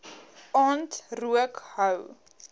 aand rook hou